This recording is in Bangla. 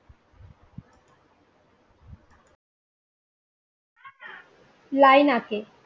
লাইনা কে